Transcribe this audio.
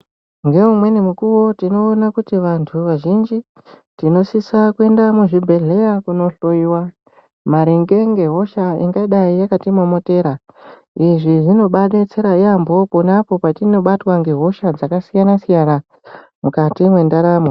Neumweni mukuwo tinoona kuti vantu vazhinji tinosisa kuenda muzvibhedhlera kunohloiwa maringe ngehosha ingadai yakatimomotera, izvi zvinobaadetsera yaambo ponapo patinobatwa ngehosha dzakasiyana-siyana mukati mwendaramo.